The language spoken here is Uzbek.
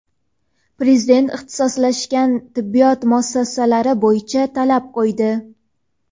Prezident ixtisoslashgan tibbiyot muassasalari bo‘yicha talab qo‘ydi.